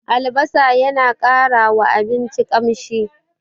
Albasa yana ƙarawa abinci ƙamshi.